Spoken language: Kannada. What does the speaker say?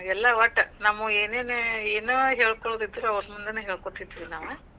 ಎಲ್ಲಾ ಒಟ್, ನಮ್ಮವು ಏನೇನ್ ಏನಾ ಹೇಳ್ಕೋಳೋದಿದ್ರು, ಅವರ ಮುಂದನ ಹೇಳ್ಕೋತಿದ್ವಿ ನಾವ್.